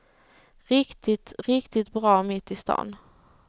Riktigt, riktigt bra mitt i stan.